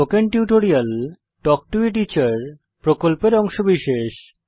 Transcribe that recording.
spoken tutorial talk to a teacher প্রকল্পের অংশবিশেষ